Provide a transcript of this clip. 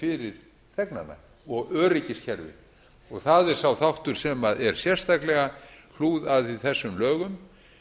fyrir þegnana og öryggiskerfi og það er sá þáttur sem er sérstaklega hlúð að í þessum lögum